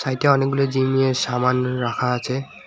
সাইডে অনেকগুলো জিমের সামান রাখা আছে।